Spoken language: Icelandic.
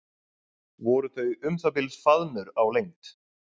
Voru þau um það bil faðmur á lengd.